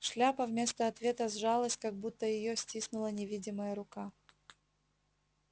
шляпа вместо ответа сжалась как будто её стиснула невидимая рука